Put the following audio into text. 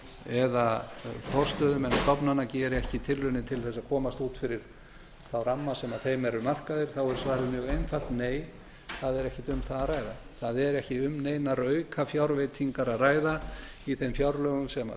eða forstöðumenn stofnana geri ekki tilraunir til þess að komast út fyrir þá ramma sem þeim eru markaðir er svarið mjög einfalt nei það er ekkert um það að ræða það er ekkert um neinar aukafjárveitingar að ræða í þeim fjárlögum sem